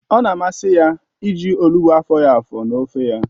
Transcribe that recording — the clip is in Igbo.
Ọ na-amasị ya iji olugbụ afọghi afọ n'ofe ya